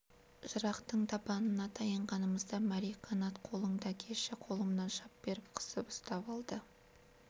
жырақтың табанына таянғанымызда мәри қанат қолыңды әкеші деп қолымнан шап беріп қысып ұстап алды